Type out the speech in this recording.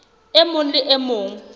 e mong le e mong